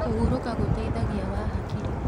Kũhũrũka gũteĩthagĩa wa hakĩrĩ